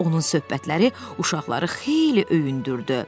Onun söhbətləri uşaqları xeyli öyündürdü.